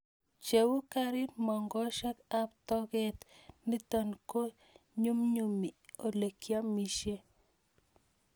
Cheu kerit mong'oshek ab toket nitok ko nyumnyumi ole kiamishe